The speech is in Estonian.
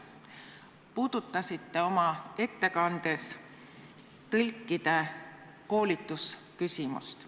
Puudutasite oma ettekandes tõlkide koolituse küsimust.